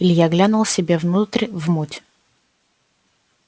илья глянул себе внутрь в муть